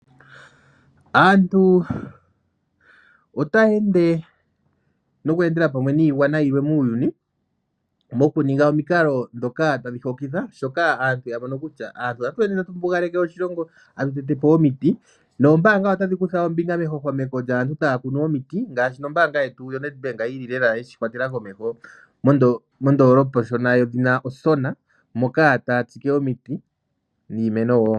Aantu otaya ende noku endela pamwe niigwana yimwe muuyuni. Moku ninga omikala dhoka tadhi hokitha. Dhoka ya mono kutya aantu otatu mbugaleke oshilongo tatu tetepo omiiti. Noombanga otadhi kutha ombinga mehwahwameko lyaantu taa kunu omiiti. Ngaashi nombanga yetu yoNedbank yili lela yeshi kwatela komeho mondolopa oshona yedhi Osona. Moka taya tsike omiiti niimeno wo.